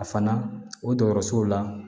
A fana o dɔgɔtɔrɔsow la